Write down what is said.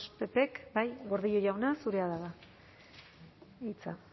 ppk bai gordillo jauna zurea da ba hitza